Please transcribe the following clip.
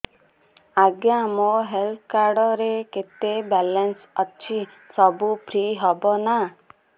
ଆଜ୍ଞା ମୋ health card ରେ କେତେ ବାଲାନ୍ସ ଅଛି ସବୁ ଫ୍ରି ହବ ନାଁ